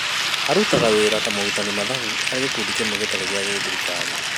Arutaga wĩra ta mũtari mathabu harĩ gĩkundi kĩmwe gĩtarĩ gĩa gĩthirikari